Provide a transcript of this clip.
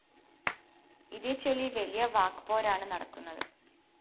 ഇതേച്ചൊല്ലി വലിയ വാക്‌പോരാണ് നടക്കുന്നത്